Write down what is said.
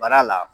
Baara la